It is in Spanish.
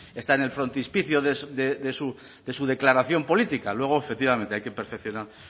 está en el frontispicio de su declaración política luego efectivamente hay que perfeccionar